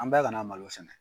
An bɛɛ kana malo sɛnɛ.